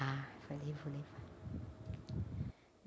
Ah, falei, vou levar.